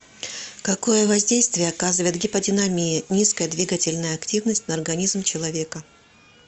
какое воздействие оказывает гиподинамия низкая двигательная активность на организм человека